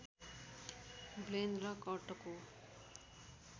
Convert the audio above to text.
ब्लेन र कर्टको